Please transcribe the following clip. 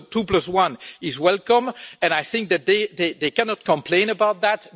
The two-plus-one is welcome, and they cannot complain about that